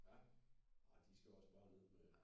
Ja ah de skal også bare ned med